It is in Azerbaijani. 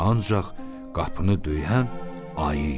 Ancaq qapını döyən ayı idi.